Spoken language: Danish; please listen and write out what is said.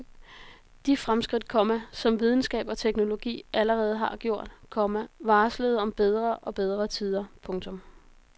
De fremskridt, komma som videnskab og teknologi allerede havde gjort, komma varslede om bedre og bedre tider. punktum